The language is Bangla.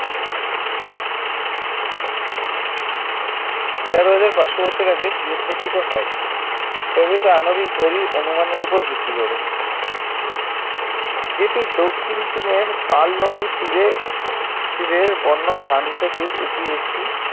তের হাজার পাঁচশ বছর আগে গার্হস্থ্যকৃত হয় ব্যবহৃত আণবিক ঘড়ির অনুমানের উপর ভিত্তি করে যেটির দক্ষিণ চীনের পার্ল নদীর তীরে তীরের বন্য ধান থেকে এটি একটি